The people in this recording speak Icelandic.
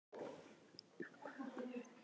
Elly, hvað er að frétta?